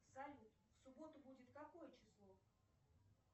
салют в субботу будет какое число